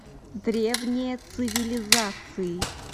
древние цивилизации